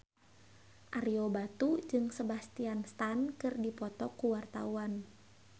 Ario Batu jeung Sebastian Stan keur dipoto ku wartawan